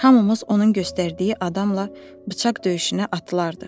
hamımız onun göstərdiyi adamla bıçaq döyüşünə atılardıq.